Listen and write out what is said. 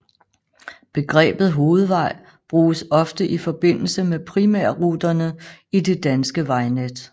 Begrebet hovedvej bruges ofte i forbindelse med primærruterne i det danske vejnet